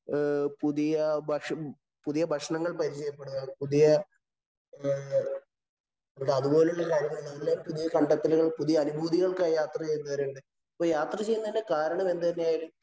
പുതിയ ഭക്ഷ പുതിയ ഭക്ഷണങ്ങള്‍ പരിചയപ്പെടുക, പുതിയഅതുപോലെയുള്ള കാര്യങ്ങള്‍, പുതിയ കണ്ടെത്തെലുകള്‍, പുതിയ അനുഭൂതികള്‍ക്കായി യാത്ര ചെയ്യുന്നവരാണ്. അപ്പൊ യാത്ര ചെയ്യുന്നതിന്‍റെ കാരണം എന്തുതന്നെയായാലും